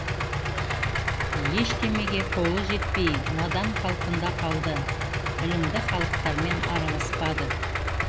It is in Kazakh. ештемеге қолы жетпей надан қалпында қалды білімді халықтармен араласпады